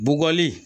Bɔgɔli